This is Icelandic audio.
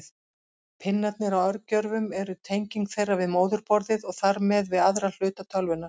Pinnarnir á örgjörvum eru tenging þeirra við móðurborðið og þar með við aðra hluta tölvunnar.